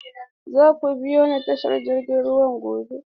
Za ku biyo ni tashar jirgin ruwa gobe?